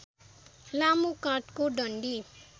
लामो काठको डन्डी